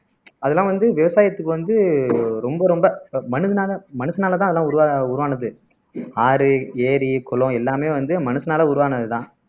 அதெல்லாம் வந்து விவசாயத்துக்கு வந்து ரொம்ப ரொம்ப மனிதனால மனுஷனாலதான் அதெல்லாம் உருவா உருவானது ஆறு, ஏரி, குளம் எல்லாமே வந்து மனுஷனால உருவானதுதான்